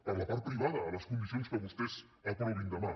per la part privada a les condicions que vostès aprovin demà